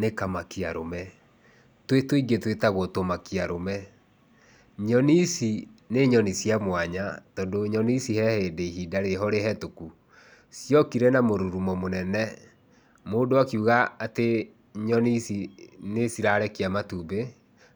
Nĩ kamakia arũme, twĩ tũingĩ twĩtagwo tũmakia arũme. Nyoni ici nĩ nyoni cia mwanya, tondũ nyoni ici he hĩndĩ ihinda rĩho rĩhĩtũku, ciokire na mũrurumo mũnene. Mũndũ akĩuga atĩ nyoni ici nĩcirarekia matumbĩ,